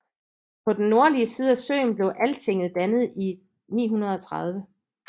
På den nordlige side af søen blev Altinget dannet i 930